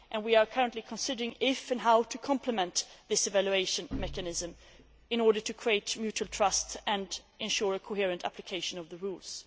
We are currently considering whether and how to complement this evaluation mechanism in order to create mutual trust and ensure a coherent application of the rules.